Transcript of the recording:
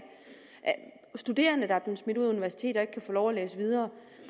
og studerende der er blevet smidt ud af universiteter og ikke kan få lov at læse videre